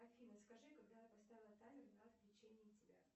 афина скажи когда я поставила таймер на отключение тебя